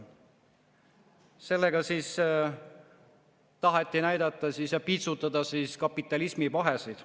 Sellega taheti näidata ja piitsutada kapitalismi pahesid.